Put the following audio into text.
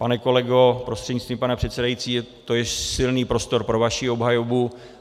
Pane kolego prostřednictvím pana předsedajícího, to je silný prostor pro vaši obhajobu.